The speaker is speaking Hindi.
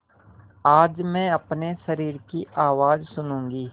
आज मैं अपने शरीर की आवाज़ सुनूँगी